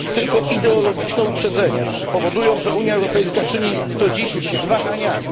Tylko ideologiczne uprzedzenia powodują, że Unia Europejska czyni to dziś z wahaniami.